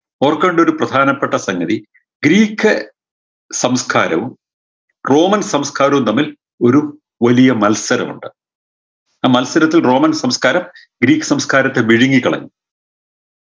ഓർക്കേണ്ടൊരു പ്രധാനപ്പെട്ട സംഗതി ഗ്രീക്ക് സംസ്കാരവും റോമൻ സംസ്കാരവും തമ്മിൽ ഒരു വലിയ മത്സരമുണ്ട് ആ മത്സരത്തിൽ റോമൻ സംസ്കാരം ഗ്രീക്ക് സംസ്കാരത്തെ മെരുകി കളഞ്ഞു